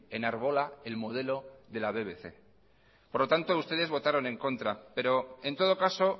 enarbola el modelo de la bbc por lo tanto ustedes votaron en contra en todo caso